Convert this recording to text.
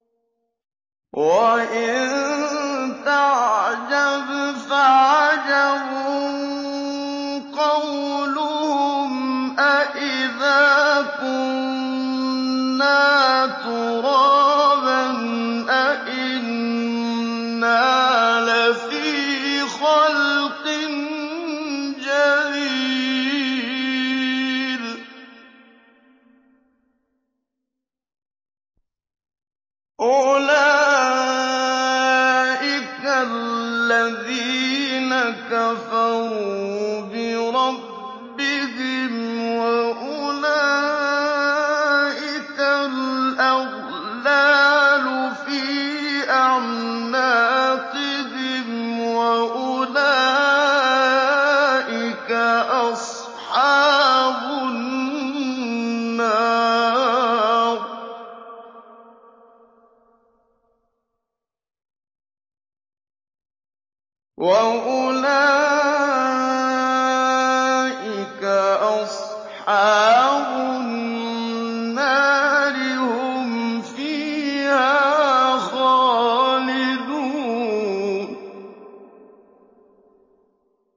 ۞ وَإِن تَعْجَبْ فَعَجَبٌ قَوْلُهُمْ أَإِذَا كُنَّا تُرَابًا أَإِنَّا لَفِي خَلْقٍ جَدِيدٍ ۗ أُولَٰئِكَ الَّذِينَ كَفَرُوا بِرَبِّهِمْ ۖ وَأُولَٰئِكَ الْأَغْلَالُ فِي أَعْنَاقِهِمْ ۖ وَأُولَٰئِكَ أَصْحَابُ النَّارِ ۖ هُمْ فِيهَا خَالِدُونَ